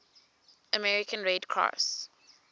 american red cross